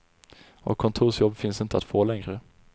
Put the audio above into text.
Och kontorsjobb finns inte att få längre.